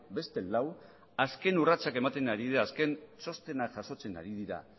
beste lau azken urratsak ematen ari dira azken txostena jasotzen ari dira